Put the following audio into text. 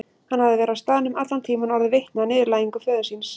Hann hafði verið á staðnum allan tíman og orðið vitni að niðurlægingu föður síns.